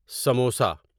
samosa